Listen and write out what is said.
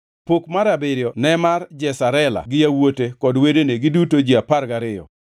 Pok mar abiriyo ne mar Jesarela gi yawuote kod wedene, giduto ji apar gariyo,